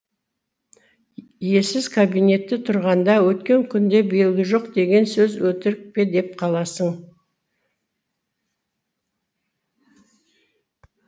иесіз кабинетте тұрғанда өткен күнде белгі жоқ деген сөз өтірік пе деп қаласың